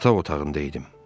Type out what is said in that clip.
Yataq otağında idim.